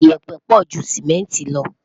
iyepe pọ jù simẹnti lo